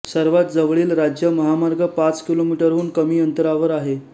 सर्वात जवळील राज्य महामार्ग पाच किलोमीटरहून कमी अंतरावर आहे